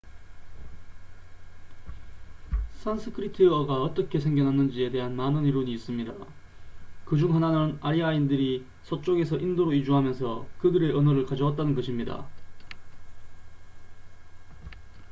산스크리트어가 어떻게 생겨났는지에 대한 많은 이론이 있습니다 그중 하나는 아리아인들이 서쪽에서 인도로 이주하면서 그들의 언어를 가져왔다는 것입니다